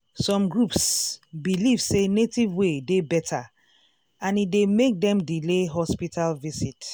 some groups believe say native way dey better and e dey make dem delay hospital visit.